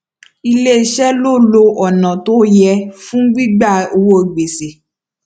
ilé iṣé lo lo ònà tó yẹ fún gbígba owó gbèsè